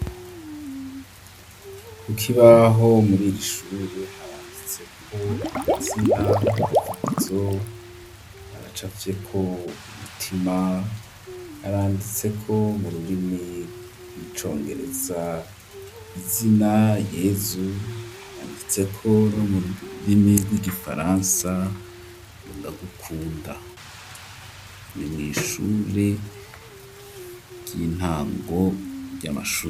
ku kibaho muriri ishure haranditse ko amazina nka Vugizo haracapfyeko umutima haranditse ko mu rurimi rw'icongereza izina yezu haranditseko no mu rurimi rw'igifaransa ngo ndagukunda ni mw'ishure ry'intango ry'amashure.